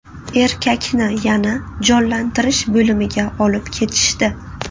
Erkakni yana jonlantirish bo‘limiga olib ketishdi.